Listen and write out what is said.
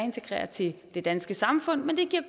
integrere til det danske samfund men det giver